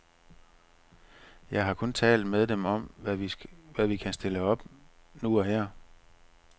Jeg har kun talt med dem om, hvad vi kan stille op nu og her.